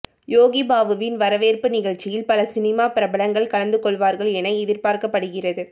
யோகி பாபுவின் வரவேற்பு நிகழ்ச்சியில் பல சினிமா பிரபலங்கள் கலந்து கொள்வார்கள் என எதிர்பார்க்கப்படுகிறது